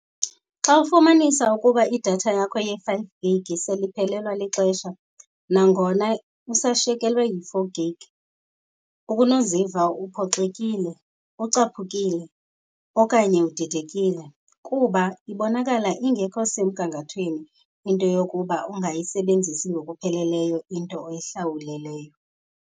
Xa ufumanisa ukuba idatha yakho ye-five gig sele iphelelwa lixesha nangona usashekelwe yi-four gig, ubunoziva uphoxekile, ucaphukile okanye udidekile. Kuba ibonakala ingekho semgangathweni into yokuba ungayisebenzisi ngokupheleleyo into oyihlawuleleyo.